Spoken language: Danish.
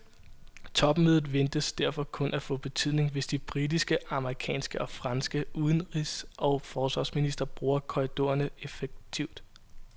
Topmødet ventes derfor kun at få betydning, hvis de britiske, amerikanske og franske udenrigs og forsvarsministre bruger korridorerne effektivt.